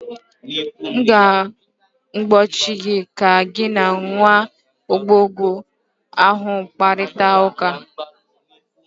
m ga-egbochi gị ka gị na nwa agbọghọ ahụ kparịta ụka!